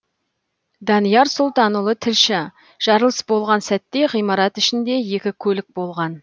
данияр сұлтанұлы тілші жарылыс болған сәтте ғимарат ішінде екі көлік болған